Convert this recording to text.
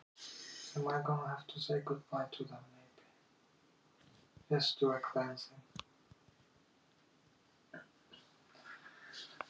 Eins og fyrr sagði er hluthafafundur æðsti valdhafinn í félaginu.